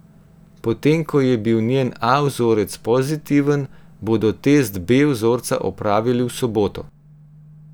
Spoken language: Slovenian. Potem ko je bil njen A vzorec pozitiven, bodo test B vzorca opravili v soboto.